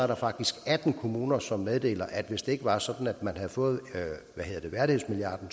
der faktisk atten kommuner som meddeler at hvis det ikke var sådan at man havde fået værdighedsmilliarden